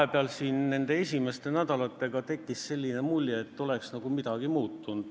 Mul tekkis siin vahepeal nende esimeste nädalate jooksul selline tunne, et midagi oleks nagu muutunud.